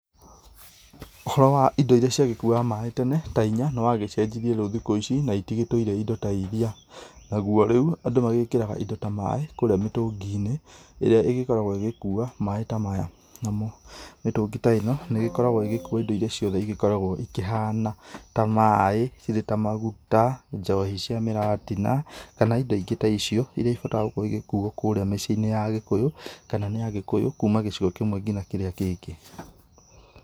Ũhoro wa indo ĩrĩa cia kuaga maĩ tene ta inya nĩ wagĩcenjĩrie rĩu thikũ ici na itigĩtũire indo ta ĩrĩa, nagũo rĩu andũ magĩkĩraga indo ta maĩ kũrĩa mĩtũngi-inĩ ĩrĩa ĩgĩkoragwo ĩgĩkũa maĩ ta maya namo mĩtũngi ta ĩno nĩ ĩgĩkoragwo ĩgĩkũa indo ĩrĩa ciothe ikoragwo ikĩhana ta maĩ cĩrĩ ta maguta ,njohi cia mĩratina kana indo ingĩ ta icio irĩa ibataraga gũkorwo igĩkũo kũrĩa mĩciĩ-inĩ ya agĩkũyũ kana nĩ agĩkũyũ kũma gĩcigo kĩmwe ginya kĩrĩa kĩngĩ.